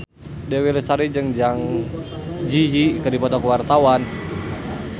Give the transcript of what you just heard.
Dewi Lestari jeung Zang Zi Yi keur dipoto ku wartawan